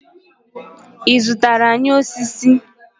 I zụtara anyị osisi?